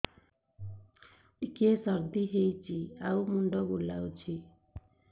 ଟିକିଏ ସର୍ଦ୍ଦି ହେଇଚି ଆଉ ମୁଣ୍ଡ ବୁଲାଉଛି